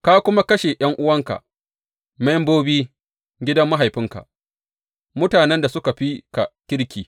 Ka kuma kashe ’yan’uwanka, membobi gidan mahaifinka, mutanen da suka fi ka kirki.